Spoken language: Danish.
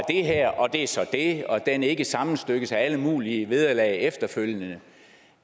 her og det er så det og at den ikke sammenstykkes af alle mulige vederlag efterfølgende